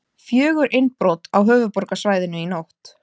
Fjögur innbrot á höfuðborgarsvæðinu í nótt